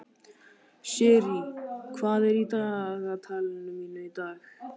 Sirrí, hvað er í dagatalinu mínu í dag?